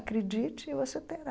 Acredite e você terá.